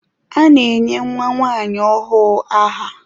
A na-enye nwa nwanyi ọhụụ aha.